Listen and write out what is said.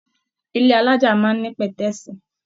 Ilé alájà máa ní pẹ̀tẹ́sí.